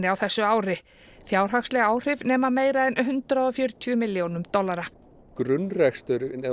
á þessu ári fjárhagsleg áhrif nema meira en hundrað og fjörutíu milljónum dollara grunnreksturinn ef